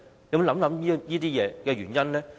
有否想過原因呢？